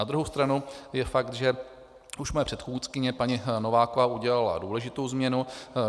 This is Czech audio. Na druhou stranu je fakt, že už moje předchůdkyně paní Nováková udělala důležitou změnu.